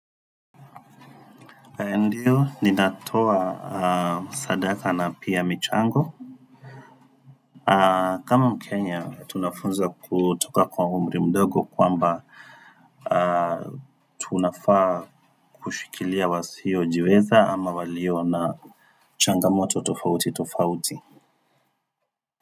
Ndio, ninatoa sadaka na pia michango. Kama mkenya, tunafunzwa kutoka kwa umri mdogo kwamba tunafaa kushikilia wasiojiweza ama walio na changamoto tofauti tofauti.